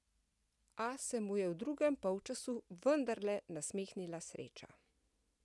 A se mu je v drugem polčasu vendarle nasmehnila sreča.